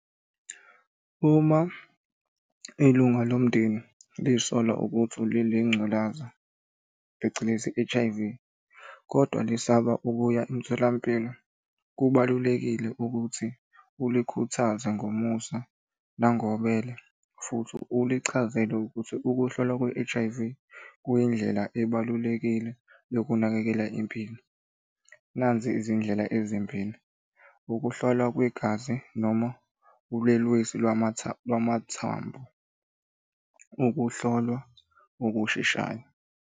Uma ilunga lomndeni liy'sola ukuthi ngculaza phecelezi H_I_V, kodwa lisaba ukuya emtholampilo, kubalulekile ukuthi ulikhuthaze ngomusa nangobele futhi ulichazele ukuthi ukuhlolwa kwe-H_I_V kuyindlela ebalulekile yokunakekela impilo. Nazi izindlela ezimbili, ukuhlolwa kwegazi noma ulwelwesi lwamathambo, ukuhlolwa okusheshayo.